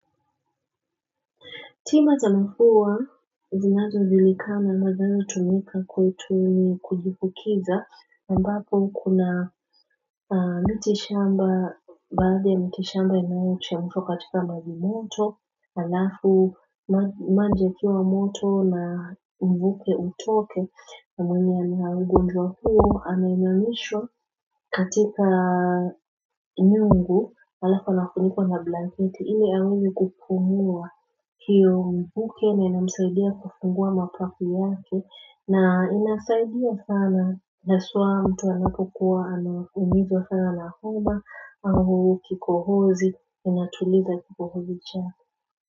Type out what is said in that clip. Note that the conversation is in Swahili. Tima za mafua zinazo zilikama madali hutumika kwetu ni kujifukiza ambapo kuna miti shamba baadhi miti shamba inayochemshwa katika maji moto Alafu maji yakiwa moto na mvuke utoke na mwenye ana ugonjwa huo anainamishwa katika nyungu alafu anafunikwa na blanketi ili aweze kupungua hiyo mvuke na inamsaidia kufungua mapafu yake na inasaidia sana haswa mtu anapokuwa anaumizwa sana na homa au kikohozi inatuliza kikohozi chake.